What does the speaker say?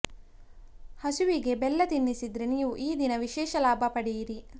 ಹಸುವಿಗೆ ಬೆಲ್ಲ ತಿನಿಸಿದ್ರೆ ನೀವು ಈ ದಿನ ವಿಶೇಷ ಲಾಭ ಪಡೆಯಿರಿ